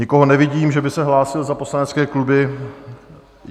Nikoho nevidím, že by se hlásil za poslanecké kluby.